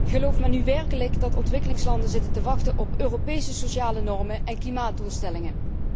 Gelooft men nu werkelijk dat ontwikkelingslanden zitten te wachten op Europese sociale normen en klimaatdoelstellingen?